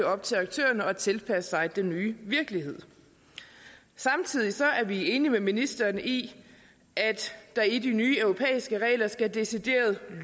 op til aktørerne at tilpasse sig den nye virkelighed samtidig er vi enige med ministeren i at der i de nye europæiske regler skal decideret